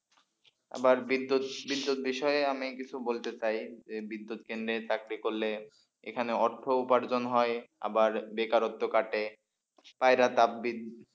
আবার বিদ্যুৎ বিদ্যুৎ বিষয়ে আমি কিছু বলতে চাই যে বিদ্যুৎ কেন্দ্রে চাকরি করলে এখানে অর্থ উপার্জন হয় আবার বেকারত্ব কাটে স্পাইরা তাপবিদ্যুৎ।